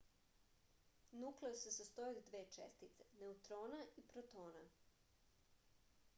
nukleus se sastoji od dve čestice neutrona i protona